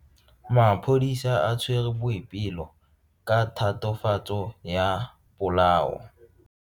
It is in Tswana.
Maphodisa a tshwere Boipelo ka tatofatso ya polao.